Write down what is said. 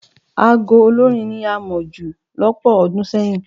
Aago olórín ni a mọ̀ jù lọ́pọ̀ ọdún sẹ́yìn.